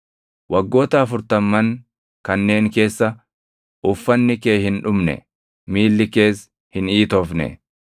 Waggoota afurtamman kanneen keessa uffanni kee hin dhumne; miilli kees hin iitofne.